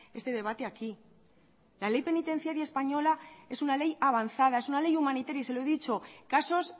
este debate aquí la ley penitenciaria española es una ley avanzada es una ley humanitaria y se lo he dicho casos